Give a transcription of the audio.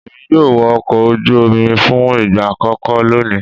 Èmi yóò wọ ọkọ̀ ojú omi fún ìgbà àkókó lónìí.